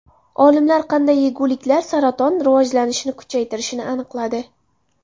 Olimlar qanday yeguliklar saraton rivojlanishini kuchaytirishini aniqladi.